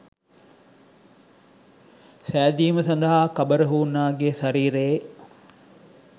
සෑදීම සදහා කබර හූනාගේ ශරීරයේ